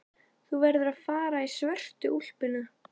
Þú verður að fara í svörtu úlpuna.